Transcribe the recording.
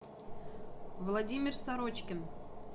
владимир сорочкин